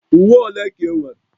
Uwe ole ka ị nwere?